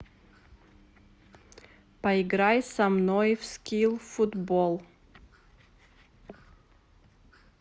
поиграй со мной в скилл футбол